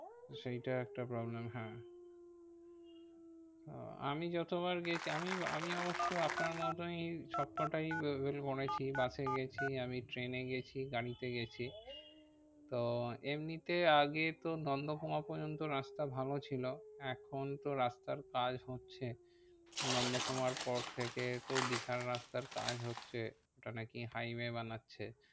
তো এমনিতে আগে তো নন্দকুমার পর্যন্ত রাস্তা ভালো ছিল। এখন তো রাস্তার কাজ হচ্ছে নন্দকুমার পর থেকে তো দীঘার রাস্তার কাজ হচ্ছে। ওটা নাকি highway বানাচ্ছে।